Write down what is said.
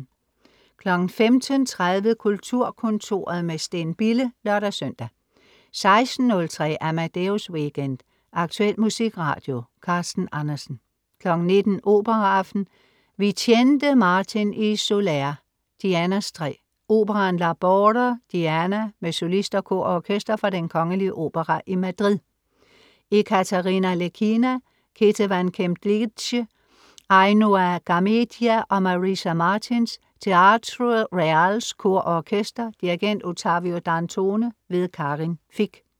15.30 Kulturkontoret, med Steen Bille (lør-søn) 16.03 Amadeus Weekend. Aktuel musikradio. Carsten Andersen 19.00 Operaaften. Vicente Martín y Soler: Dianas træ. Operaen L'arbore di Diana med solister, kor og orkester fra Den kgl. Opera i Madrid. Ekaterina Lekhina, Ketevan Kemklidze, Ainoa Garmedia og Marisa Martins. Teatro Reals Kor og Orkester. Dirigent: Ottavio Dantone. Karin Fich